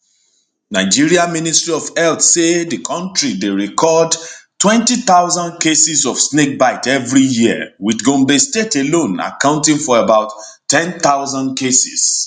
nigeria ministry of health say di kontri dey record 20000 cases of snakebite everi year wit gombe state alone accounting for about 10000 cases